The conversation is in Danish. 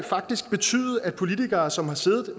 faktisk betyde at politikere som har siddet